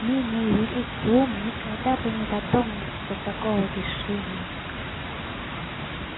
менее великий ум никогда бы не додумался до такого решения